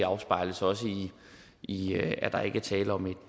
afspejles også i i at der ikke er tale om